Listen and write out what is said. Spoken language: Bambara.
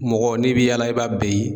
Mɔgɔ n'i bi yaala i b'a bɛɛ ye